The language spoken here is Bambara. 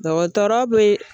Dɔgɔtɔrɔ be